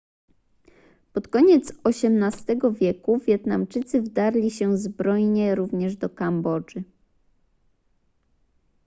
pod koniec xviii wieku wietnamczycy wdarli się zbrojnie również do kambodży